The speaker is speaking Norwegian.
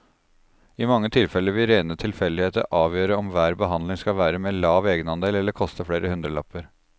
I mange tilfeller vil rene tilfeldigheter avgjøre om hver behandling skal være med lav egenandel eller koste flere hundrelapper.